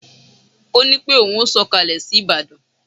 Ó ní pé ohun ó sọkalẹ sí Ìbàdàn